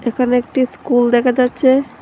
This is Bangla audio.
এখানে একটি স্কুল দেখা যাচ্ছে।